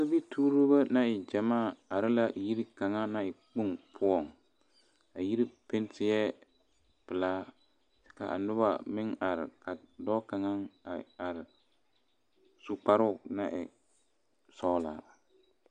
Sobituurbo naŋ e gyamaa are la yiri kaŋa naŋ e kpoŋ poɔ a yiri pɛnti la pelaa kaa noba meŋ are ka dɔɔ kaŋa a are su kparo naŋ e sɔglaa.